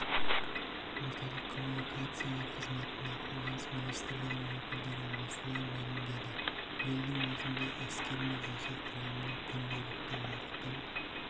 орталық коммуникациялар қызметінде қорғаныс министірлігінің өкілдері осылай мәлімдеді биылдың өзінде әскер мен жеке құрамның күнделікті уақытын